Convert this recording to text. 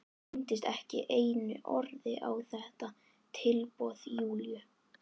Hún minntist ekki einu orði á þetta tilboð Júlíu.